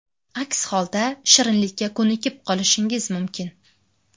Aks holda shirinlikka ko‘nikib qolishingiz mumkin.